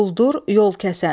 Quldur, yol kəsən.